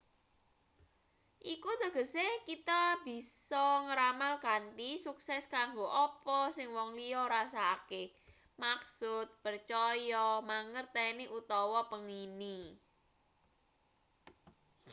iku tegese kita bisa ngramal kanthi sukses kanggo apa sing wong liya rasakake maksud percaya mangerteni utawa pengini